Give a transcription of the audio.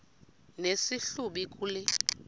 nesi hlubi kule